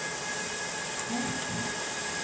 Klepp